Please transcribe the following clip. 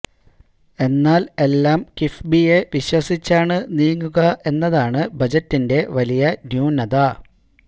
എന്നാൽ എല്ലാം കിഫ്ബിയെ വിശ്വസിച്ചാണ് നീങ്ങുക എന്നതാണ് ബജറ്റിന്റെ വലിയ ന്യൂനത